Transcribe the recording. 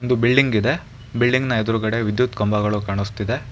Building ಇದೆ building ನ ಎದುರುಗಡೆ ವಿದ್ಯುತ್ ಕಂಬಗಳು ಕಾಣಿಸ್ತಿದೆ.